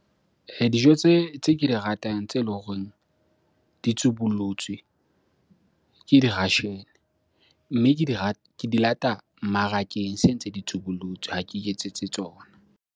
Dijo tse ke di ratang tse leng horeng di tsubullotswe ke di-russian. Mme ke di ke di lata mmarakeng se ntse di tsubullotswe. Ha ke iketsetse tsona.